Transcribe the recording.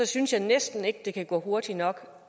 synes jeg næsten ikke det kan gå hurtigt nok